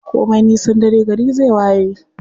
Komin nisan dare gari zai waye.